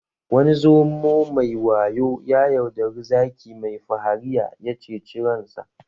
Wani zomo mai wayo ya yaudari zaki mai fahariya ya ceci ransa